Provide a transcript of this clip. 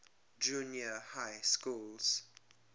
junior high schools